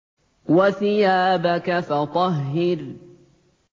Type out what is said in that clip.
وَثِيَابَكَ فَطَهِّرْ